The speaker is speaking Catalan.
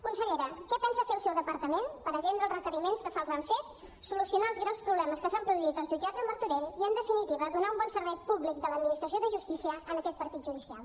consellera què pensa fer el seu departament per atendre els requeriments que se’ls han fet solucionar els greus problemes que s’han produït als jutjats de martorell i en definitiva donar un bon servei públic de l’administració de justícia en aquest partit judicial